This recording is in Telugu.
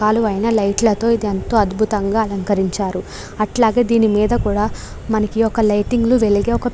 రకాలైన లైట్ లతో ఇది ఎంతో అద్భుతంగా అలంకరించారు. అట్లాగే దీని మీద కూడా మనకి ఒక లైటింగ్ వెలిగే ఒక --